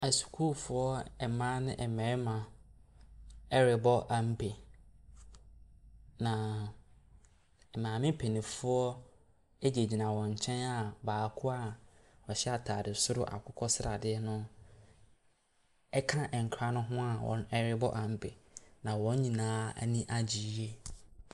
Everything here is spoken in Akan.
Asukuufoɔ a mmaa ne mmarima rebɔ ampe, na maame mpanimfoɔ gyinagyina wɔn nkyɛn a baako a ɔhyɛ atade soro akokɔ sradeɛ no ka nkwadaa no ho a wɔrebɔ ampe, na wɔn nyinaa ani agye yie.